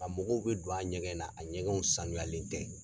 A mɔgɔw bɛ don a ɲɛgɛn na a ɲɛgɛnw saniyalen tɛ.